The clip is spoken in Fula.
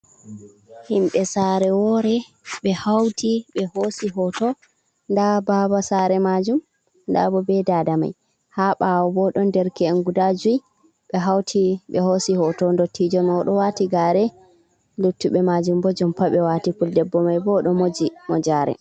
Himɓe sare wore, ɓe hauti ɓe hoosi hoto. Nda baba sare maajum, nda bo be dada mai. Ha ɓaawo bo ɗon derke'en guda jui, ɓe hauti ɓe hoosi hoto. Ndottiijo mai o ɗo waati gare. luttuɓe mai bo jompa ɓe waati, fuldebbo mai bo o ɗo moji mojaare.